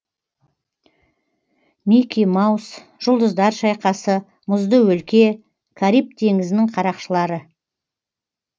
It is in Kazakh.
мики маус жұлдыздар шайқасы мұзды өлке кариб теңізінің қарақшылары